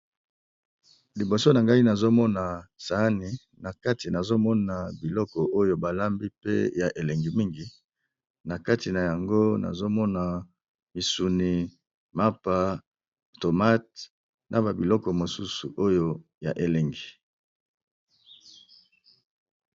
Liboso nangai nazomona sahani nakati biloko ba kambi pe ya elengi mingi namoni misuni, MAPA, tomates naba biloko mosusu oyo yaba bilingi.